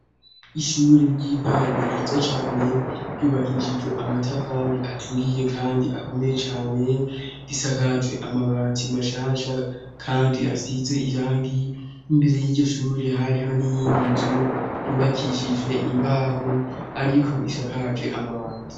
ishure ry'intango ryiza cane ryubakishijwe amatafari aturiye kandi akomeye cane r'isakaje amabati mashasha kandi hasize irangi imbere y'iryoshure hariho n'iyindi nzu yubakishijwe imbaho ariko isakaje amabati